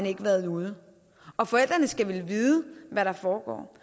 ikke været ude og forældrene skal vel vide hvad der foregår